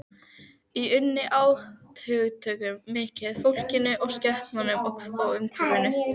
Ég unni átthögunum mikið, fólkinu, skepnunum og umhverfinu.